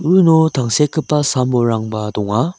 uno tangsekgipa sam-bolrangba donga.